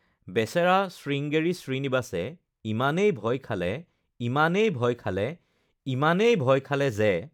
বেচেৰা শৃংগেৰী শ্ৰীনিবাসে ইমানেই ভয় খালে, ইমানেই ভয় খালে, ইমানেই ভয় খালে যে...